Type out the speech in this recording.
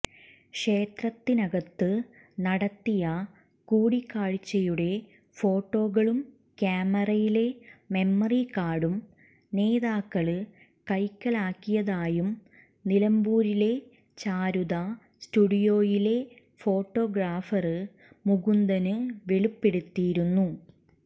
ക്ഷേത്രത്തിനകത്ത് നടത്തിയ കൂടിക്കാഴ്ച്ചയുടെ ഫോട്ടോകളും ക്യാമറയിലെ മെമ്മറി കാര്ഡും നേതാക്കള് കൈക്കലാക്കിയതായും നിലമ്പൂരിലെ ചാരുത സ്റ്റുഡിയോയിലെ ഫോട്ടോഗ്രാഫര് മുകുന്ദന് വെളിപ്പെടുത്തിയിരുന്നു